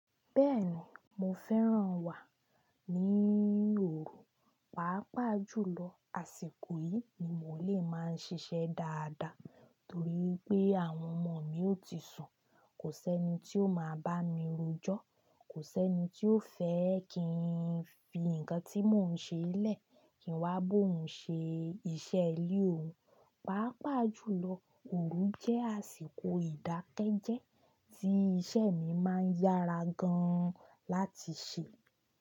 Bẹ́ẹ̀ni, mo fẹ́ràn wà ní òru, pàápàá jùlọ àsìkò yìí ni mo lè máa ń ṣiṣẹ́ dáadáa nitorí pé àwọn ọmọ mi ó ti sùn, kò sẹ́ni tí ó máa bá mi rojọ́, kò sẹ́ni tí ó fẹ́ kí n fi nǹkan tí mò ń ṣe lẹ́ẹ̀ kín wá bo ń ṣe iṣẹ́ ilé òun. Pàápàá jùlọ òru jẹ́ àsìkò ìdákẹ́jẹ́ẹ́ tí iṣẹ́ mi máa ń yára gan láti ṣẹ.